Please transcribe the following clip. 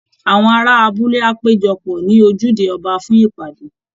Àwọn ará abúlé á péjọ pọ̀ ní ojúde ọba fún ìpàdé